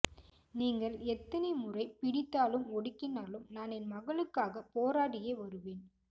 நீங்கள் எத்தனை முறை பிடித்தாலும் ஒடிக்கினாலும் நான் என் மக்களுக்காக போராடியே வருவேன்